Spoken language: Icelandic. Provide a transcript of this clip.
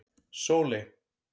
Sóley